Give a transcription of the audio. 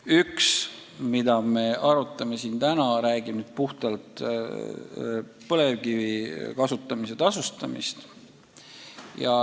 Üks, mida me arutame täna, räägib puhtalt põlevkivi kasutamise tasustamisest.